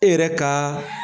E yɛrɛ kaa